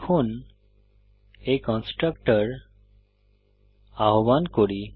এখন এই কন্সট্রাকটর আহ্বান করি